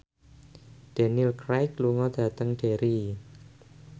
Daniel Craig lunga dhateng Derry